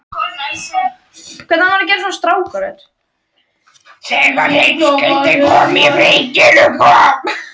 Þegar hersingin kom að byrginu kom